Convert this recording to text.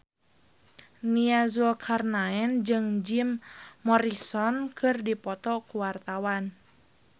Nia Zulkarnaen jeung Jim Morrison keur dipoto ku wartawan